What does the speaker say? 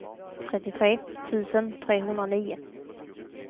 trettiotre tusen trehundranio